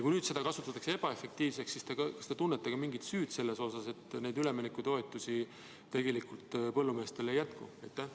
Kui nüüd seda kasutatakse ebaefektiivselt, siis kas te tunnete ka mingit süüd selles, et neid üleminekutoetusi tegelikult põllumeestele ei jätku?